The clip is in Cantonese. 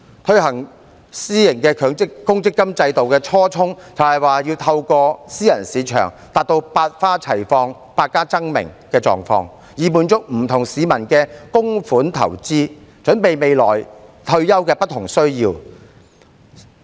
推行私營公積金制度的初衷，是要透過私人市場達到百花齊放、百家爭鳴的狀況，以滿足不同市民的供款投資，準備未來退休的不同需要。